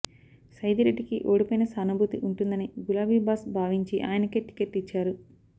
సైదిరెడ్డికి ఓడిపోయిన సానుభూతి ఉంటుందని గులాబీ బాస్ భావించి ఆయనకే టికెట్ ఇచ్చారు